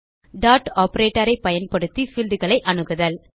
dot operator ஐ பயன்படுத்தி fieldகளை அணுகுதல்